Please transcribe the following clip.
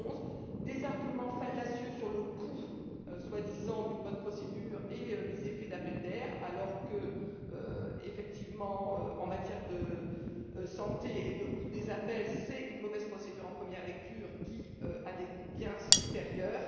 2011. Des arguments fallacieux sur le soi disant coût d'une bonne procédure et les effets d'appel d'air, alors qu'effectivement, en matière de santé et de coût des appels, c'est une mauvaise procédure en première lecture qui a des coûts bien supérieurs.